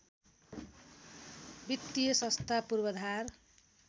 वित्तीय संस्था पूर्वाधार